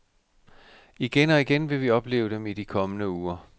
Igen og igen vil vi opleve dem i de kommende uger.